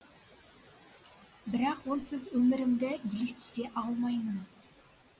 бірақ онсыз өмірімді елестете алмаймын